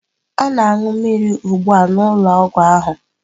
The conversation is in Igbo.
Ọ na-aṅụ mmiri ugbu a n'ụlọọgwụ ahụ.